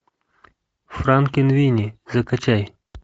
франкенвини закачай